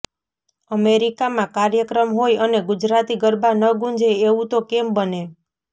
અમેરિકામાં કાર્યક્રમ હોય અને ગુજરાતી ગરબા ન ગુંજે એવું તો કેમ બને